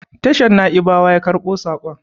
tashar Na'ibawa yakarbo sakon